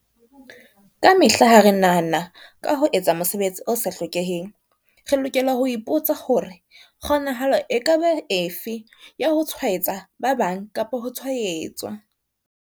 Kamehla ha re nahana ka ho etsa mosebetsi o sa hlokeheng, re lokela ho ipotsa hore, kgonahalo e ka ba efe ya ho tshwaetsa ba bang kapa ho tshwaetswa?